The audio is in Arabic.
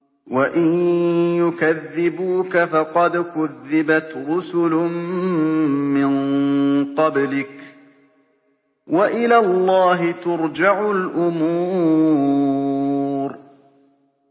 وَإِن يُكَذِّبُوكَ فَقَدْ كُذِّبَتْ رُسُلٌ مِّن قَبْلِكَ ۚ وَإِلَى اللَّهِ تُرْجَعُ الْأُمُورُ